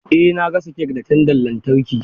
Eh na gasa kek da tandan lantarki.